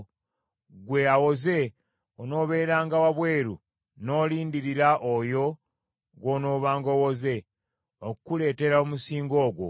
Ggwe awoze onaabeeranga wabweru n’olindirira oyo gw’onoobanga owoze, okukuleetera omusingo ogwo.